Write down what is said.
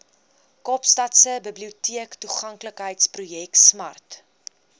kaapstadse biblioteektoeganklikheidsprojek smart